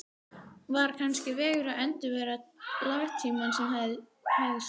Var kannski vegur að endurvekja latínuna sem hafði sofið